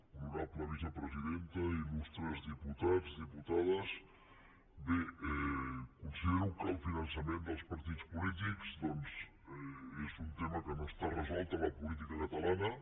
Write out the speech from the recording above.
honorable vicepresidenta il·lustres diputats diputades bé considero que el finançament dels partits polítics és un tema que no està resolt a la política catalana